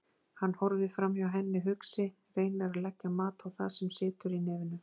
Hann horfir framhjá henni hugsi, reynir að leggja mat á það sem situr í nefinu.